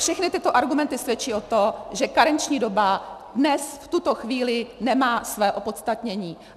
Všechny tyto argumenty svědčí o tom, že karenční doba dnes v tuto chvíli nemá své opodstatnění.